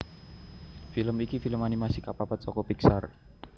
Film iki film animasi kapapat saka Pixar